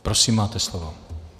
Prosím, máte slovo.